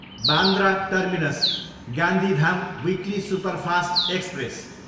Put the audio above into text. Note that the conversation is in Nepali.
Bandra terminus, Gandhidham weekly superfast express